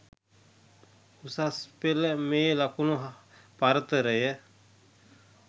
උසස් පෙළ මේ ලකුණු පරතරය